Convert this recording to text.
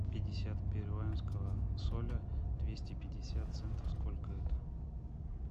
пятьдесят перуанского соля двести пятьдесят центов сколько это